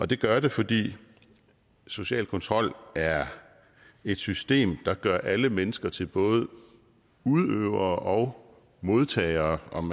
det gør det fordi social kontrol er et system der gør alle mennesker til både udøvere og modtagere om